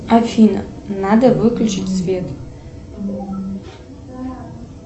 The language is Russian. афина надо выключить свет